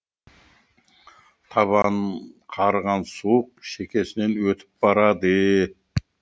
табанын қарыған суық шекесінен өтіп барады